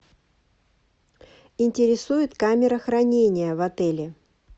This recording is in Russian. интересует камера хранения в отеле